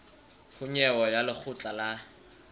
ho nyewe ya lekgotla la